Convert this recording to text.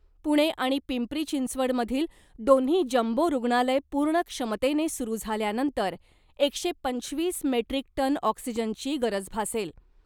पुणे आणि पिंपरी चिंचवडमधील दोन्ही जम्बो रूग्णालय पूर्ण क्षमतेने सुरू झाल्यानंतर एकशे पंचवीस मेट्रीक टन ऑक्सिजनची गरज भासेल .